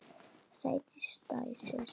Sædís dæsir.